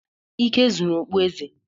Ike zuru okpueze.